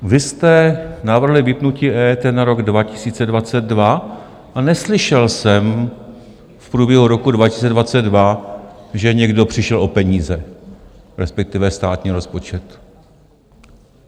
Vy jste navrhli vypnutí EET na rok 2022 a neslyšel jsem v průběhu roku 2022, že někdo přišel o peníze, respektive státní rozpočet.